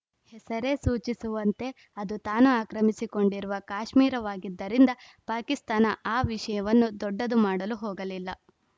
ಹೆಸರೇ ಸೂಚಿಸುವಂತೆ ಅದು ತಾನ ಆಕ್ರಮಿಸಿಕೊಂಡಿರುವ ಕಾಶ್ಮೀರವಾಗಿದ್ದರಿಂದ ಪಾಕಿಸ್ತಾನ ಆ ವಿಷಯವನ್ನು ದೊಡ್ಡದು ಮಾಡಲು ಹೋಗಲಿಲ್ಲ